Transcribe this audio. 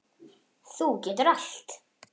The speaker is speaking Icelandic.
Þú getur allt.